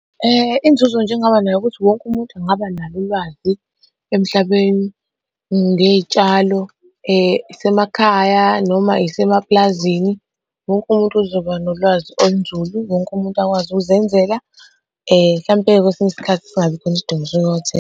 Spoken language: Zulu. Inzuzo nje engingaba nayo ukuthi wonke umuntu engaba nalo ulwazi emhlabeni ngey'tshalo, isemakhaya noma isemaplazini. Wonke umuntu uzoba nolwazi olunzulu, wonke umuntu akwazi ukuzenzela mhlampe-ke kwesinye isikhathi singabi khona isidingo .